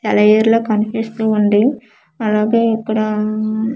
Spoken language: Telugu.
సెలఏరు లా కనిపిస్తుంది అలాగే ఇక్కడ ఉమ్.